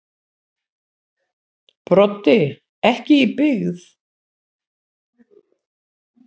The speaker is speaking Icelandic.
Broddi: Ekki í byggð.